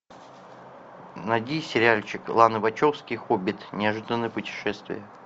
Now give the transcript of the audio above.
найди сериальчик ланы вачовски хоббит неожиданное путешествие